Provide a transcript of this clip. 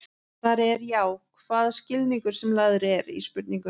Svarið er já, hvaða skilningur sem lagður er í spurninguna.